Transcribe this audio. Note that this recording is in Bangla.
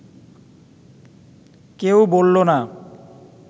কেউ বলল না